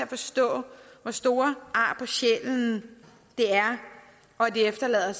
forstå hvor store ar på sjælen det efterlader